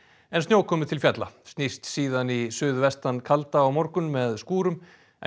en snjókomu til fjalla snýst síðan í suðvestan kalda á morgun með skúrum en